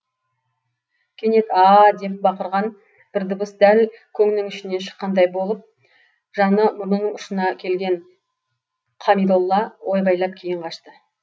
кенет а а а деп бақырған бір дыбыс дәл көңнің ішінен шыққандай болып жаны мұрнының ұшына келген қамидолла ойбайлап кейін қашты